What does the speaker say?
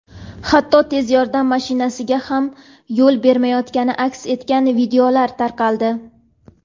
hatto tez yordam mashinasiga ham yo‘l bermayotgani aks etgan videolar tarqaldi.